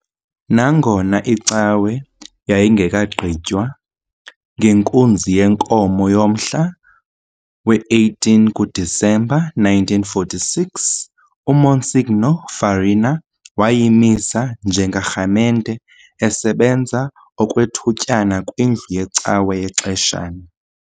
Nangona icawe yayingekagqitywa, ngenkunzi yenkomo yomhla we-18 kuDisemba 1946, uMonsignor Farina wayimisa njengerhamente, esebenza okwethutyana kwindlu yecawa yexeshana.